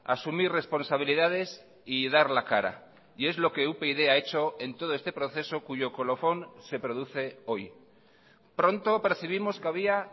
asumir responsabilidades y dar la cara y es lo que upyd ha hecho en todo este proceso cuyo colofón se produce hoy pronto percibimos que había